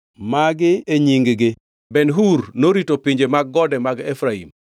Magi e nying-gi: Ben-Hur norito pinje mag gode mag Efraim: